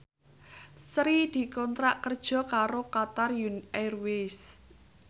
Sri dikontrak kerja karo Qatar Airways